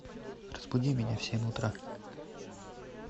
разбуди меня в семь утра